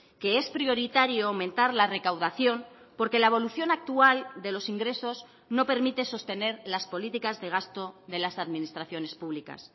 que es prioritario aumentar la recaudación porque la evolución actual de los ingresos no permite sostener las políticas de gasto de las administraciones públicas